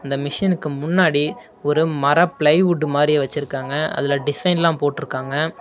இந்த மிஷினுக்கு முன்னாடி ஒரு மர பிளைவுட்டு மாறி வெச்சுருக்காங்க அதுல டிசைன் எல்லாம் போட்டுருக்காங்க.